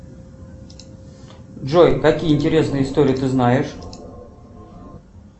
джой какие интересные истории ты знаешь